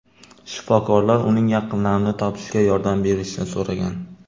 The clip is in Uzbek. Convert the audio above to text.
Shifokorlar uning yaqinlarini topishga yordam berishni so‘ragan.